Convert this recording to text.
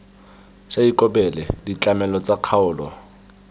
sa ikobele ditlamelo tsa kgaolo